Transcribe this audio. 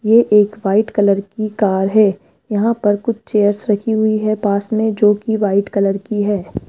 ये एक white colour की कार है यहां पर कुछ चेयर्स रखी हुई है पास में जो की व्हाइट कलर की है।